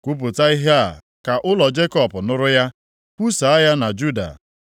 “Kwupụta ihe a ka ụlọ Jekọb nụrụ ya, kwusaa ya na Juda.